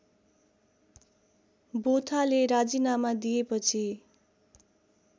बोथाले राजिनामा दिएपछि